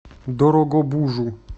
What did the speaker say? дорогобужу